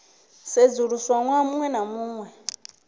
sedzuluswa ṅwaha muṅwe na muṅwe